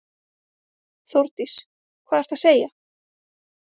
Þórdís: Hvað ertu að segja.